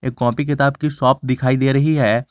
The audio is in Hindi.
कॉपी किताब की शॉप दिखाई दे रही है।